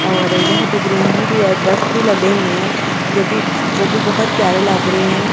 और यहां पे ग्रीनरी भी है दरख्त भी लगे हुए हैं जो भी वो भी बहोत प्यारे लग रहे हैं।